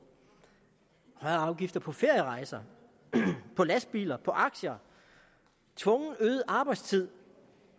højere afgifter på ferierejser på lastbiler på aktier tvungen øget arbejdstid